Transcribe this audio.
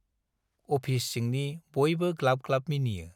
Office सिंनि बयबो ग्लाब-ग्लाब मिनियो।